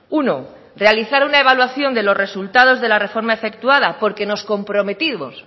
uno realizar una evaluación de los resultados de la reforma efectuada porque nos comprometimos